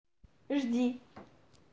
жди